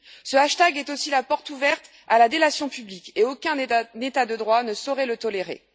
Ce hashtag est aussi la porte ouverte à la délation publique, et aucun État de droit ne saurait le tolérer.